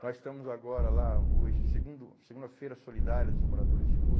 Nós estamos agora lá, hoje, segundo, segunda-feira solidária dos moradores de rua.